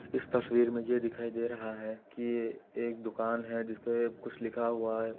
इस तस्वीर मे यह दिखाई दे रहा है कि ये एक दुकान है जिसमे कुछ लिखा हुआ है।